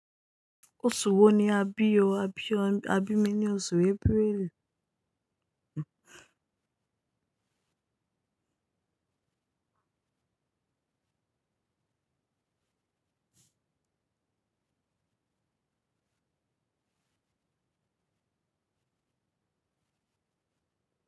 Oṣù wo ni a bi o, a bi o, a bi mi ní oṣù April?